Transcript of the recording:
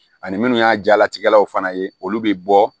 Ani minnu y'a jalatigɛlaw fana ye olu bɛ bɔ